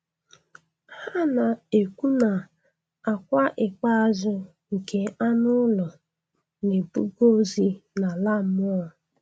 Ha na-ekwu na akwa ikpeazụ nke anụ ụlọ na-ebuga ozi nala mmụọ.